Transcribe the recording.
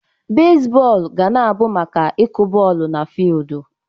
Bezbọọlụ ga na-abụ maka ịkụ bọọlụ n'fiudu.